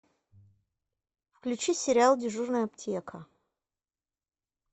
включи сериал дежурная аптека